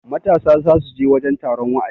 matasa za su je taron wa'azi